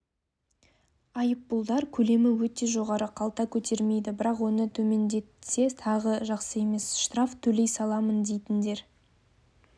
айыппұлдар көлемі өте жоғары қалта көтермейді бірақ оны төмендетсе тағы жақсы емес штраф төлей саламын дейтіндер